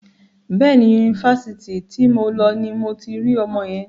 Bẹ́ẹ̀ni, Yunifásitì ti mo lọ ni mo ti rí ọmọ yẹn.